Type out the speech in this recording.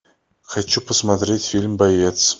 хочу посмотреть фильм боец